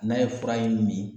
N'a ye fura in min